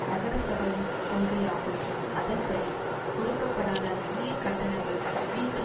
நகரசபையின் கொள்கை ஆகும் அதன்படி கொடுக்கப்படாத நீர்க் கட்டணங்கள் வீட்டு